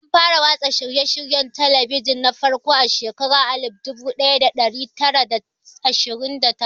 An fara watsa shirye-shiryen talabijin na farko a shekarar alif dubu daya da dari tara da ashirin da takwas.